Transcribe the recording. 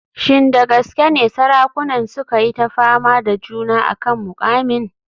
Shin da gaske ne sarakunan suka yi ta fama da juna a kan muƙamin?